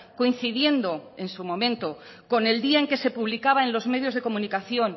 coincidiendo en su momento con el día en que se publicaba en los medios de comunicación